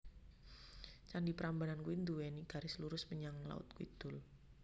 Candi Prambanan kui nduweni garis lurus menyang laut kidul